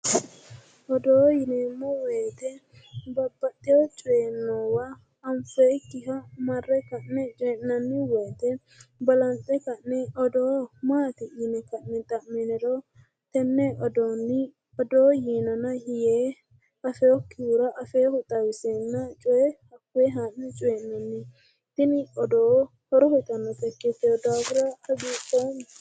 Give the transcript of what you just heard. odoo yineemmo woyte babbaxewo coyi noowa anfoyikkiha marre odeessinanni woyte balanxe ka'ne odoo maati yine ka'ne xa'miniro tenne odoonni odoo yiinona yee afeewokkihura afeewohu xawiseenna coye haa'ne coy'nanni tini odoo horo uyitannota ikktewo daafira hagiidhoomma